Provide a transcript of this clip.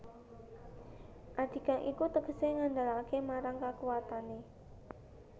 Adigang iku tegesé ngandelaké marang kakuwatané